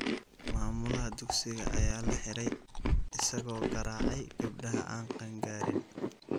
Maamulaha dugsiga ayaa la xiray isagoo garaacay gabdhaha aan qaan-gaarin.